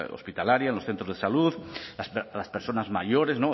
hospitalaria en los centros de salud las personas mayores